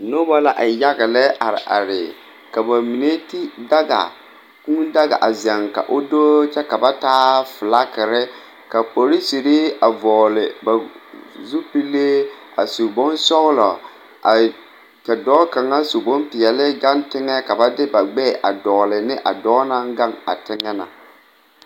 Nobɔ la e yaga lɛ are are ka ba mine ti daga kūū daga a zɛŋ ka o doo kyɛ ka ba taa flakire ka porisere a vɔɔle ba zupile a su bonsɔglɔ a e ka dɔɔ kaŋa su bonpeɛle gaŋ teŋɛ ka ba de ba gbɛɛ a dɔgle ne a dɔɔ naŋ gaŋ a teŋɛ na.